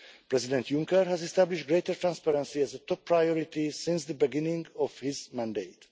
President Juncker has established greater transparency as a top priority since the beginning of his mandate.